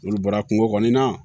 N'olu bɔra kungo kɔnɔ na